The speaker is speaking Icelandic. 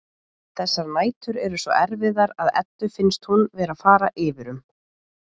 Þessar nætur eru svo erfiðar að Eddu finnst hún vera að fara yfir um.